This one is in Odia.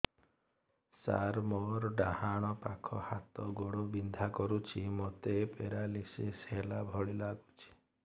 ସାର ମୋର ଡାହାଣ ପାଖ ହାତ ଗୋଡ଼ ବିନ୍ଧା କରୁଛି ମୋତେ ପେରାଲିଶିଶ ହେଲା ଭଳି ଲାଗୁଛି